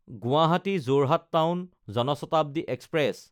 গুৱাহাটী–যোৰহাট town Jan Shatabdi express